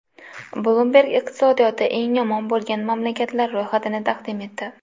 Bloomberg iqtisodiyoti eng yomon bo‘lgan mamlakatlar ro‘yxatini taqdim etdi.